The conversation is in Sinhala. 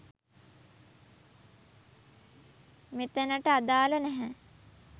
මෙතැනට අදාළ නැහැ